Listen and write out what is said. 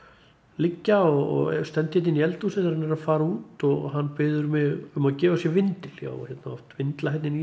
liggja og stend hérna inn í eldhúsi þegar hann er að fara út og hann biður mig um að gefa sér vindil ég á hérna oft vindla hérna inn í